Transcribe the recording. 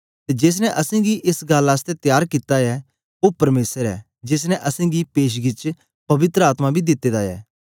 ते जेस ने असेंगी एस गल्ल आसतै त्यार कित्ता ऐ ओ परमेसर ऐ जेस ने असेंगी पेशगी च पवित्र आत्मा बी दिते दा ऐ